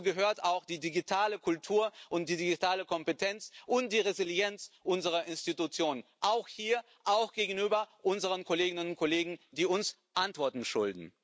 Dazu gehören auch die digitale Kultur, die digitale Kompetenz und die Resilienz unserer Institutionen auch hier und auch gegenüber unseren Kolleginnen und Kollegen, die uns Antworten schulden.